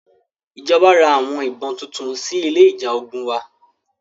Ìjọba ra àwọn ìbọn tuntun sí ilé ìjà ogun wa.